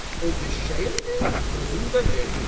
Öz eşşəyimdi, özüm də verdim də.